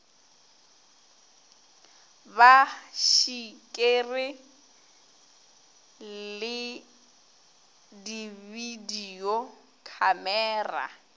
ba šikere le dibidio khamera